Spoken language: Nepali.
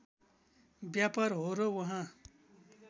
व्यापार हो र उहाँ